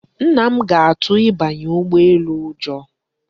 Nna m ga-atụ ịbanye ụgbọ elu ụjọ.